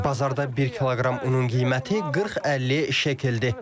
Bazarda bir kiloqram unun qiyməti 40-50 şəkeldir.